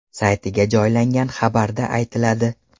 saytiga joylangan xabarda aytiladi .